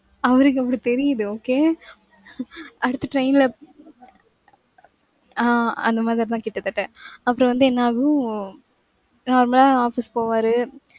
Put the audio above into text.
அவருக்கு அப்படி தெரியுது. okay அடுத்த train ல ஆஹ் அந்த மாதிரிதான் கிட்டத்தட்ட அப்புறம் வந்து என்ன ஆகும் normal ஆ office போவாரு.